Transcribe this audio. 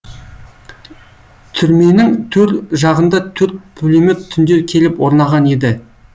түрменің төр жағында төрт пулемет түнде келіп орнаған еді